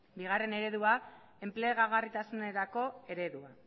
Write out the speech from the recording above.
bigarren eredua enplegagarritasunerako eredua